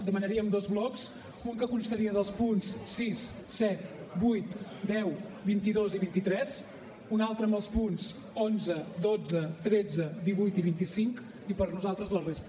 demanaríem dos blocs un que constaria dels punts sis set vuit deu vint dos i vint tres un altre amb els punts onze dotze tretze divuit i vint cinc i per nosaltres la resta